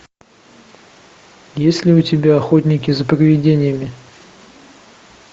есть ли у тебя охотники за привидениями